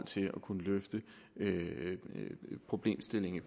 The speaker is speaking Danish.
til at kunne løse problemstillingen i